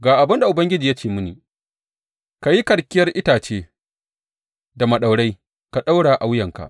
Ga abin da Ubangiji ya ce mini, Ka yi karkiyar itace da maɗaurai ka ɗaura a wuyanka.